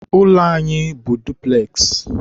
ụlọ anyị bụ dupules.